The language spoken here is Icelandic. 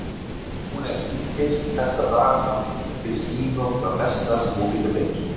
Hún er síþyrst þessa dagana og finnst nýmjólk það besta sem hún getur fengið.